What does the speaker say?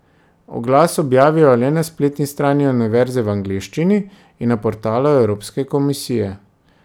Oglas objavijo le na spletni strani univerze v angleščini in na portalu evropske komisije.